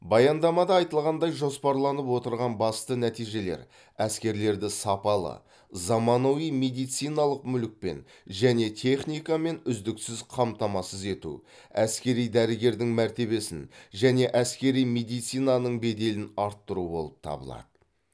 баяндамада айтылғандай жоспарланып отырған басты нәтижелер әскерлерді сапалы заманауи медициналық мүлікпен және техникамен үздіксіз қамтамасыз ету әскери дәрігердің мәртебесін және әскери медицинаның беделін арттыру болып табылады